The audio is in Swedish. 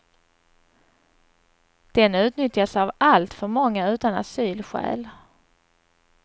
Den utnyttjas av alltför många utan asylskäl.